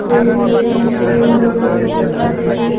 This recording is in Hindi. इस रूम में--